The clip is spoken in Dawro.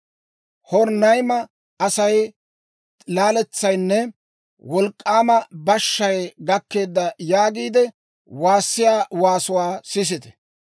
«Horonayma asay, ‹Laaletsaynne wolk'k'aama bashshay gakkeeda› yaagiide waassiyaa waasuwaa sisite!